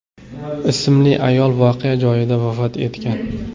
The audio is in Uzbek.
ismli ayol voqea joyida vafot etgan.